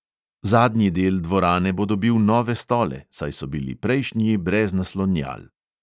Zadnji del dvorane bo dobil nove stole, saj so bili prejšnji brez naslonjal.